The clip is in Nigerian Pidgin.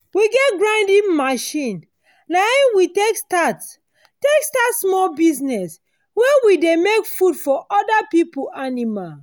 we get grinding machine. na him we take start take start small business where we dey make food for other people animal.